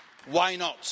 Why not?